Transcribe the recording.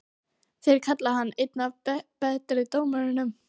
Þeir kalla hann einn af betri dómurunum?